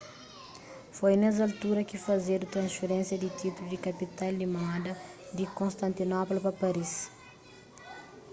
foi nes altura ki fazedu transferénsia di títulu di kapital di moda di konstantinopla pa paris